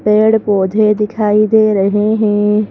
पेड़-पौधे दिखाई दे रहे हैं ।